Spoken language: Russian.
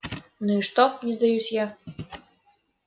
ну и что не сдаюсь я